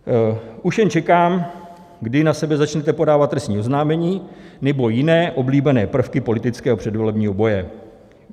Už jen čekám, kdy na sebe začnete podávat trestní oznámení nebo jiné oblíbené prvky politického předvolebního boje.